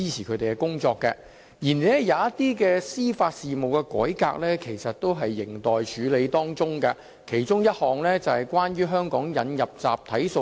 然而，有一些司法事務改革仍有待處理，其中之一是在香港引入集體訴訟。